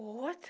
O outro,